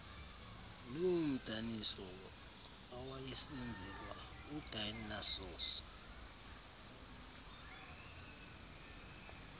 noomdaniso awayesenzelwa udionysos